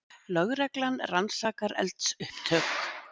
Lögreglan rannsakar eldsupptök